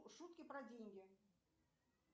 шутки про деньги